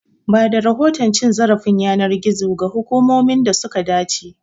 Bada rahoton cin zarafin yanar gizo ga hukumomin da suka dace.